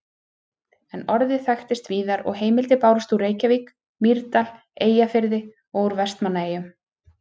En orðið þekktist víðar og heimildir bárust úr Reykjavík, Mýrdal, Eyjafirði og úr Vestmannaeyjum.